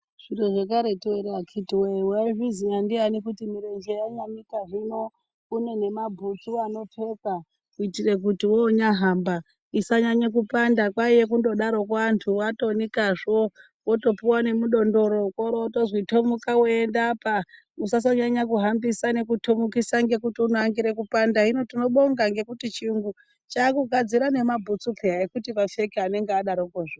Zviro zvekaretu ere akiti woyee waizviziya ndiyani kuti mirenje yanyanika hino kune nemabhutsu anopfekwa kuitira kuti wonyahamba isanyanye kupanda kwainge kungodaroko anthu atonikazvo wotopuwa nemudondoro oro wotozi tomuka weiendeapa usasanyanya kuhambisa nekutomukisa ngekuti unoangire kupanda hino tinobonga chirungu chaakugadzira nemabhutsu peya ekuti vapfeke anenge adarokozve.